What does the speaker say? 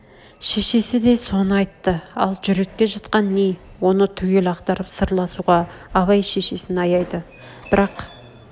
шешесі де соны айтты ал жүректе жатқан не оны түгел ақтарып сырласуға абай шешесін аяйды бірақ